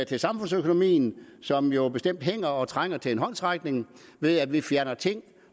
til samfundsøkonomien som jo bestemt hænger og som trænger til en håndsrækning ved at vi fjerner ting